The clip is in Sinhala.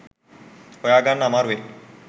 හොයාගන්න අමාරු වෙයි